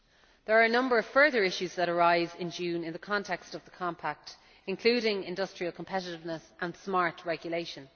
There are a number of further issues that arise in June in the context of the Compact, including industrial competitiveness and smart regulation.